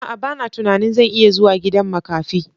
A'a! Bana tunanin zan iya zuwa gidan makafi.